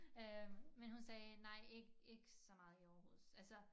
Øh men hun sagde nej ik ik så meget i Aarhus altså